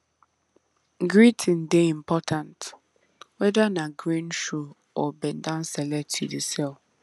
greeting dey important weda na grain shoe or bend down select you dey sell